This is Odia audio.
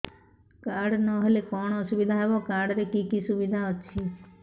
କାର୍ଡ ନହେଲେ କଣ ଅସୁବିଧା ହେବ କାର୍ଡ ରେ କି କି ସୁବିଧା ଅଛି